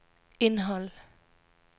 indhold